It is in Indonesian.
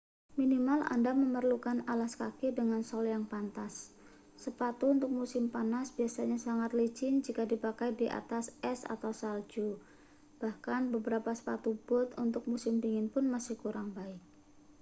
minimal anda memerlukan alas kaki dengan sol yang pantas sepatu untuk musim panas biasanya sangat licin jika dipakai di atas es atau salju bahkan beberapa sepatu bot untuk musim dingin pun masih kurang baik